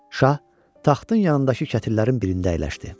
Şah taxtın yanındakı kətillərin birində əyləşdi.